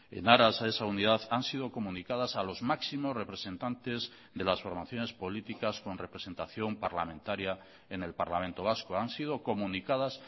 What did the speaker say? en aras a esa unidad han sido comunicadas a los máximos representantes de las formaciones políticas con representación parlamentaria en el parlamento vasco han sido comunicadas